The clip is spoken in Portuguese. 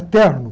É terno.